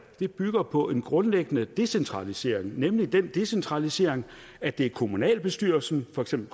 bygger på en grundlæggende decentralisering nemlig den decentralisering at det er kommunalbestyrelsen for eksempel